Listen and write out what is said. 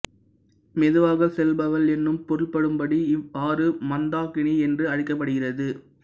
மெதுவாகச் செல்பவள் என்னும் பொருள்படும்படி இவ் ஆறு மந்தாகினி என்று அழைக்கப்படுகிறது